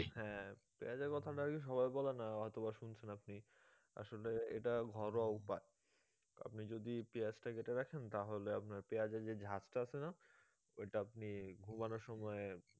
হ্যাঁ পেঁয়াজের কথাটা আর কি সবাই বলে না হয়তো বা শুনেছেন আপনি আসলে এটা ঘরোয়া উপায় আপনি যদি পেঁয়াজটা কেটে রাখেন তাহলে আপনার পেঁয়াজের যে ঝাঁজ টা আছে না ওইটা আপনি ঘুমানোর সময়